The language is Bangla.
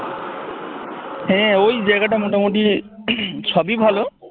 হ্যাঁ ওই জায়গাটা মোটামুটি সবই ভালো